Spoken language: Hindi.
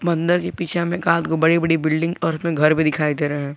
मंदिर के पीछे हमें एकाक बड़ी बड़ी बिल्डिंग और घर भी दिखाई दे रहे है।